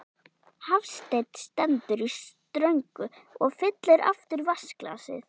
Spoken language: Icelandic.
Hafsteinn stendur í ströngu og fyllir aftur vatnsglasið.